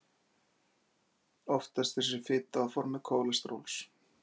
oftast er þessi fita á formi kólesteróls